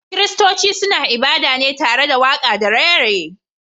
Kiristonci suna ibada ne tare waka da raye raye